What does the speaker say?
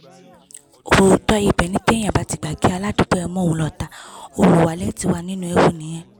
òótọ́ ibẹ̀ ni téèyàn bá ti gbà kí aládùúgbò ẹ̀ mú òun lọ́tàá olúwalẹ̀ ti wà nínú ewu nìyẹn